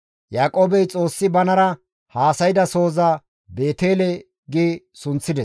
Yaaqoobey Xoossi banara haasayda sohoza, «Beetele» gi sunththides.